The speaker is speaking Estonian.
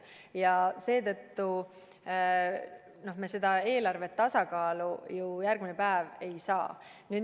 Ja seetõttu me seda eelarvet tasakaalu ju kohe järgmine päev ei saa.